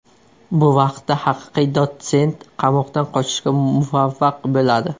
Bu vaqtda haqiqiy Dotsent qamoqdan qochishga muvaffaq bo‘ladi.